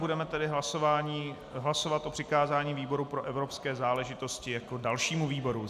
Budeme tedy hlasovat o přikázání výboru pro evropské záležitosti jako dalšímu výboru.